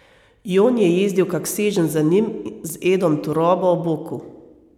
Jon je jezdil kak seženj za njim z Edom Turobo ob boku.